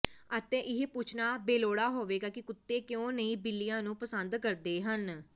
ਅਤੇ ਇਹ ਪੁੱਛਣਾ ਬੇਲੋੜਾ ਹੋਵੇਗਾ ਕਿ ਕੁੱਤੇ ਕਿਉਂ ਨਹੀਂ ਬਿੱਲੀਆਂ ਨੂੰ ਪਸੰਦ ਕਰਦੇ ਹਨ